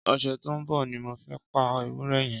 Ọsẹ tó n bọ ni mó fẹ̀ pà éwùrẹ̀ yèn